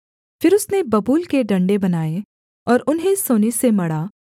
फिर उसने बबूल के डण्डे बनाए और उन्हें सोने से मढ़ा